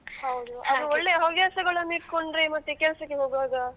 ಹೌದು ಅದು ಒಳ್ಳೆ ಹವ್ಯಾಸಗಳನ್ನು ಇಟ್ಕೊಂಡ್ರೆ ಮತ್ತೆ ಕೆಲ್ಸಕ್ಕೆ ಹೋಗುವಾಗ.